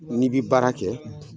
Ni bi baara kɛ